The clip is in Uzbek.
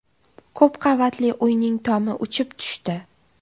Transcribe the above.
Ko‘p qavatli uyning tomi uchib tushdi .